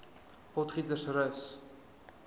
potgietersrus